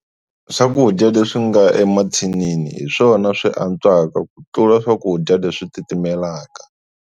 Swakudya leswi nga emathinini hi swona swi antswaka ku tlula swakudya leswi titimelaka.